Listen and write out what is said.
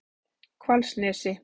Hvalsnesi